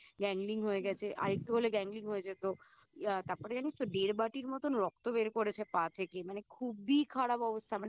Gangling হয়ে গেছে আর একটু হলে Gangling হয়ে যেত ইয়া তারপরে জানিস তো দেড় বাটির মতোন রক্ত বের করেছে পা থেকে মানে খুবই খারাপ অবস্থা